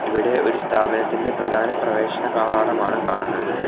ഇവിടെ ഒരു സ്ഥാപനത്തിൻ്റെ പ്രധാന പ്രവേശന കവാടമാണ് കാണുന്നത്.